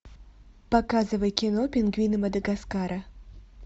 показывай кино пингвины мадагаскара